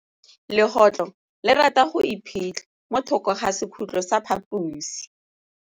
Legôtlô le rata go iphitlha mo thokô ga sekhutlo sa phaposi.